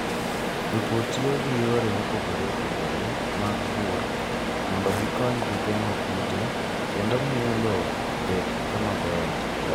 Jopur tiyo gi yore mopogore opogore mag pur mondo gikonygi geng'o kute kendo miyo lowo obed kama ber.